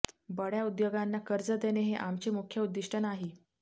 बड्या उद्योगांना कर्ज देणे हे आमचे मुख्य उद्दिष्ट नाही